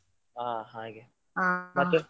ಹಾ ಹಾಗೆ.